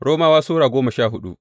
Romawa Sura goma sha hudu